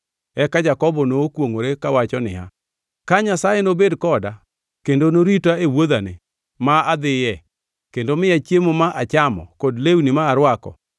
Eka Jakobo nokwongʼore kawacho niya, “Ka Nyasaye nobed koda kendo norita e wuodhani ma adhiye kendo miya chiemo ma achamo kod lewni ma arwako,